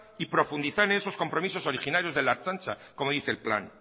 y profundizar en esos compromisos originarios de la ertzaintza como dice el plan